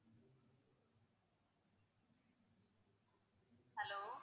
hello